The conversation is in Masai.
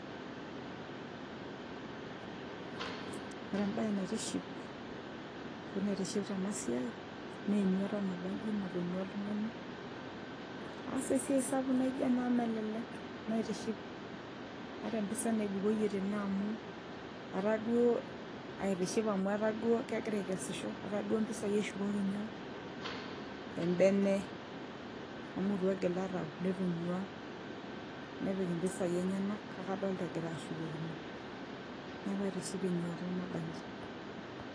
ore embaye naitishipa ashu naitiship tena siai naa enyuata nabanji natonyua oltung'ani aas esiai sapuk naijo ena amu melelek naitiship ata empisai naibukoyie tene amu etaa duo aitiship amu etaa duo kegira aikesisho etaa duo mpisai eshukoki nyoo embene amu itu egila tau netonyua nepik impisai enyenak kake adolta egira ashukokino neeku aitiship enyuata nabanji.